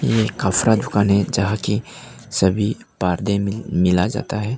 ये एक कपड़ा दुकान है जहां कि सभी मिला जाता है।